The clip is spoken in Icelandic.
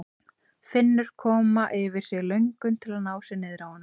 Finnur koma yfir sig löngun til að ná sér niðri á honum.